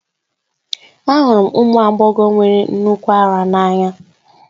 Ahụrụ m ụmụ agbọghọ nwere nnukwu ara n'anya